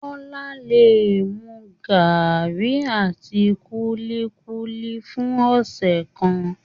Kọla le mu garri àti kulikuli fún ọsẹ kan.